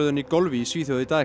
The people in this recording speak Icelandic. í golfi í Svíþjóð í dag